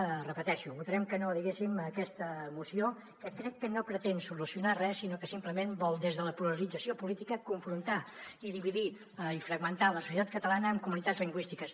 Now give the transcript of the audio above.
ho repeteixo votarem que no diguéssim a aquesta moció que crec que no pretén solucionar res sinó que simplement vol des de la polarització política confrontar i dividir i fragmentar la societat catalana en comunitats lingüístiques